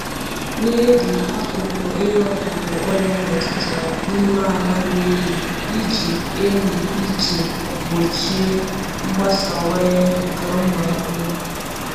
Na-eli akụkụ ihe ọkụkụ ọrịa metụtara n’ime ala miri emi iji emi iji gbochie mgbasawanye nke ụmụ ahụhụ.